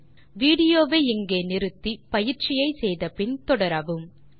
இப்போது வீடியோ வை இங்கே நிறுத்தி பயிற்சியை செய்து முடித்து பின் தொடரவும்